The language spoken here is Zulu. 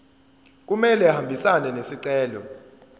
kumele ahambisane nesicelo